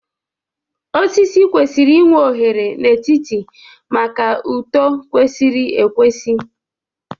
Osisi kwesịrị inwe oghere n'etiti maka uto kwesịrị ekwesị